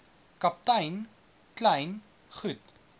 kaptein kleyn goed